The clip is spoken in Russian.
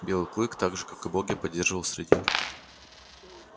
белый клык так же как и боги поддерживал среди